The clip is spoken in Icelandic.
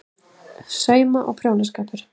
SAUMA- OG PRJÓNASKAPUR